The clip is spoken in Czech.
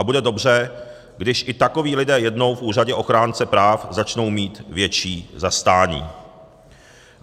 A bude dobře, když i takoví lidé jednou v úřadě ochránce práv začnou mít větší zastání.